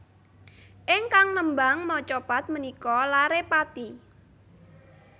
Ingkang nembang macapat menika lare Pati